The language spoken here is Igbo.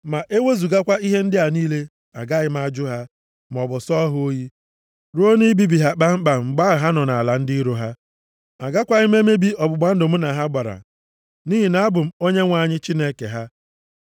Ma ewezugakwa ihe ndị a niile, agaghị m ajụ ha, + 26:44 \+xt Rom 11:2\+xt* maọbụ sọọ ha oyi, ruo na ibibi ha kpamkpam mgbe ahụ ha nọ nʼala ndị iro ha. Agakwaghị m emebi ọgbụgba ndụ + 26:44 \+xt Dit 4:31\+xt* mụ na ha gbara nʼihi na abụ m Onyenwe anyị Chineke ha.